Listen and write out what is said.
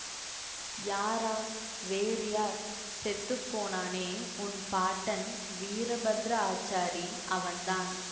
யாரா வேறு யார் செத்து போனானே உன் பாட்டன் வீரபத்திர ஆச்சாரி அவன்தான்